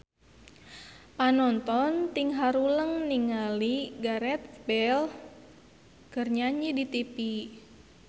Panonton ting haruleng ningali Gareth Bale keur nyanyi di tipi